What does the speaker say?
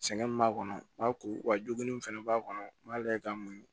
Sɛgɛn min b'a kɔnɔ n b'a ko wa jogin fana b'a kɔnɔ n b'ale ka mun